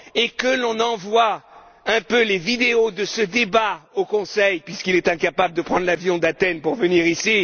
Que l'on envoie les vidéos de ce débat au Conseil puisque le ministre est incapable de prendre l'avion d'Athènes pour venir